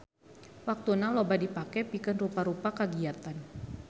Waktuna loba dipake pikeun rupa-rupa kagiatan.